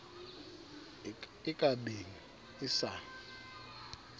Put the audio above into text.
e ka beng e sa